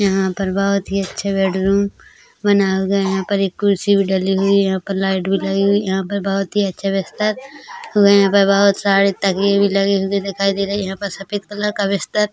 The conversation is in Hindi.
यहां पर बहोत ही अच्छे बेडरूम बना हुआ है यहां पर एक कुर्सी डली हुई है यहां पर लाइट लगी हुई है यहां पर बहोत ही अच्छा बिस्तर यहां पे बहोत सारे तकिया भी लगे हुए दिखाई दे रहै है यहां पर सफेद कलर का बिस्तर--